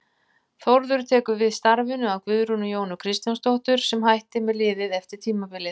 Þórður tekur við starfinu af Guðrúnu Jónu Kristjánsdóttur sem hætti með liðið eftir tímabilið.